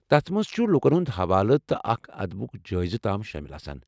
تتھ منٛز چُھ لوکن ہُند حوالہٕ تہٕ اكھ ادبُک جٲیزٕ تام شٲمِل ۔